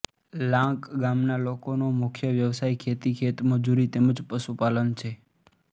લાંક ગામના લોકોનો મુખ્ય વ્યવસાય ખેતી ખેતમજૂરી તેમ જ પશુપાલન છે